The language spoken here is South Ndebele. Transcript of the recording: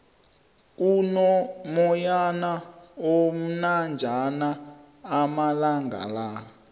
kuno moyana omnanjana amalangala